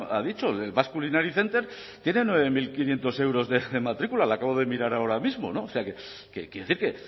ha dicho el basque culinary center tiene nueve mil quinientos euros de matrícula lo acabo de mirar ahora mismo o sea que quiero decir que